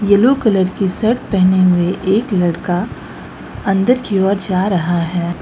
Yellow colour की shirt पहने हुए एक लड़का अंदर की ओर जा रहा है।